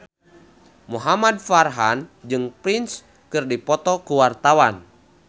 Muhamad Farhan jeung Prince keur dipoto ku wartawan